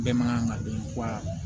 Bɛɛ man kan ka dɔn wa